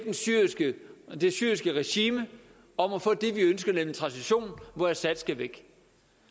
det syriske regime om at få det vi ønsker nemlig en transition hvor assad skal væk